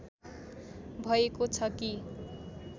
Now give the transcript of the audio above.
भएको छ कि